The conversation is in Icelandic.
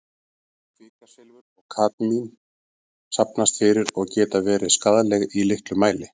Kvikasilfur og kadmín safnast fyrir og geta verið skaðleg í litlum mæli.